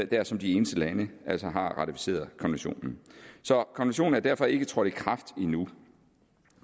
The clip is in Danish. der som de eneste lande altså har ratificeret konventionen er derfor ikke trådt i kraft endnu